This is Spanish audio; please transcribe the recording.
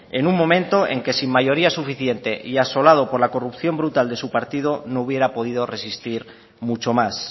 en un momento en que sin mayoría suficiente y asolado por la corrupción brutal de su partido no hubiera podido resistir mucho más